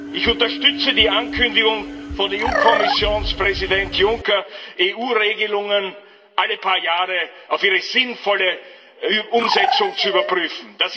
Ich unterstütze die Ankündigung von EU Kommissionspräsident Juncker, EU Regelungen alle paar Jahre auf ihre sinnvolle Umsetzung zu überprüfen.